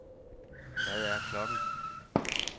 Hvad er klokken